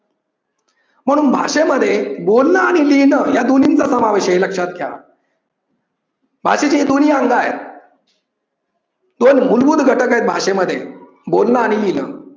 म्हणून भाषेमध्ये बोलण आणि लिहिण या दोन्हींचा समावेश आहे हे लक्ष्यात घ्या. भाषेत हे दोन्हीही अंग आहेत. दोन मूलभूत घटक आहेत भाषेमध्ये. बोलण आणि लिहिण.